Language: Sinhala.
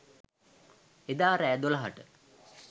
එදා රෑ දොළහට